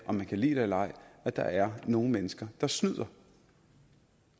om man kan lide det eller ej at der er nogle mennesker der snyder